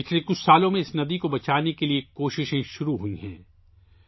اس ندی کو بچانے کی کوشش گزشتہ چند سالوں سے شروع ہوئی ہے